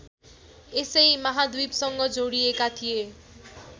यसै महाद्वीपसँग जोडिएका थिए